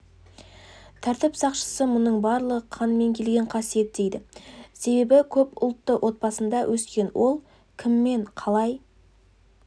тәртіп сақшысы мұның барлығы қанмен келген қасиет дейді себебі көп ұлтты отбасында өскен ол кіммен қалай